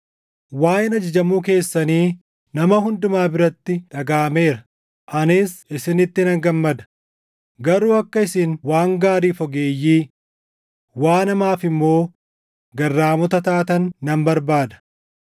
Waaʼeen ajajamuu keessanii nama hundumaa biratti dhagaʼameera; anis isinitti nan gammada; garuu akka isin waan gaariif ogeeyyii, waan hamaaf immoo garraamota taatan nan barbaada.